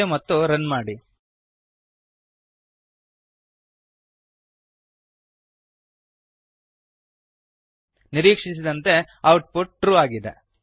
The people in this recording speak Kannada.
ಸೇವ್ ಮತ್ತು ರನ್ ಮಾಡಿ ನಿರೀಕ್ಷಿಸಿದಂತೆ ಔಟ್ ಪುಟ್ ಟ್ರೂ ಟ್ರು ಆಗಿದೆ